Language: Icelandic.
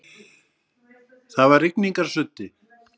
Það var rigningarsuddi.